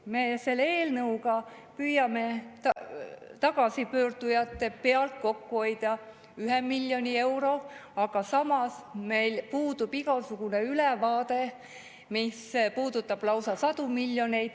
Me selle eelnõuga püüame tagasipöördujate pealt kokku hoida 1 miljon eurot, aga samas meil puudub igasugune ülevaade, mis puudutab lausa sadu miljoneid.